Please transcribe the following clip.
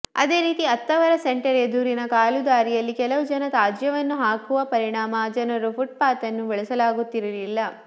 ಅದೆ ರೀತಿ ಅತ್ತಾವರ ಸೆಂಟರ್ ಎದುರಿನ ಕಾಲುದಾರಿಯಲ್ಲಿ ಕೆಲವು ಜನ ತ್ಯಾಜ್ಯವನ್ನು ಹಾಕುವ ಪರಿಣಾಮ ಜನರು ಪುಟ್ಪಾಥ್ನ್ನು ಬಳಸಲಾಗುತ್ತಿರಲಿಲ್ಲ